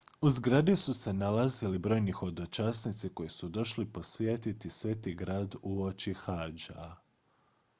u zgradi su se nalazili brojni hodočasnici koji su došli posjetiti sveti grad uoči hadža